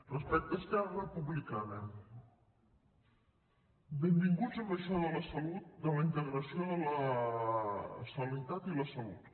respecte a esquerra republicana benvinguts a això de la salut de la integració de la sanitat i la salut